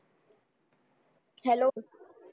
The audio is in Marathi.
hello